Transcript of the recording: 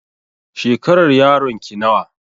Shekarar yaron ki nawa?